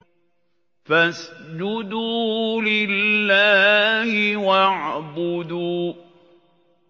فَاسْجُدُوا لِلَّهِ وَاعْبُدُوا ۩